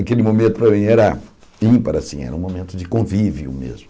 Aquele momento para mim era ímpar impar assim, era um momento de convívio mesmo.